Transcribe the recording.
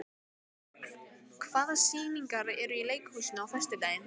Rögn, hvaða sýningar eru í leikhúsinu á föstudaginn?